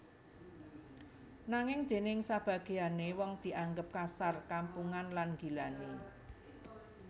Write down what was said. Nanging déning sabagéyané wong dianggep kasar kampungan lan nggilani